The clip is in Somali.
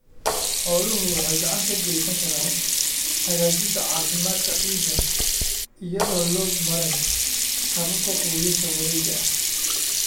Xooluhu waxay gacan ka geysan karaan hagaajinta caafimaadka ciidda iyadoo loo marayo hababka quudinta wareega ah.